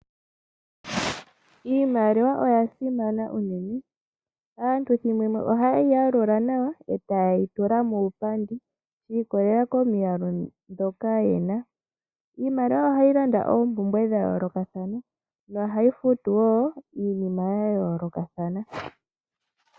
Iimaliwa oya simana unene. Aantu ohaye yi yalula nawa taye yi tula muupandi yiikololela komiyalu dhoka ye na . Iimaliwa ohayi landa oompumbwe dha yoolokathana. Ohayi futu wo iinima ya yoolokathana.